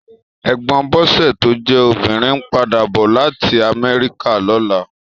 Ègbòn Bose tó jè óbirín n pàdá bò làtí Amèriká lòlá